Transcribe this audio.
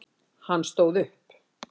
Hann stóð upp.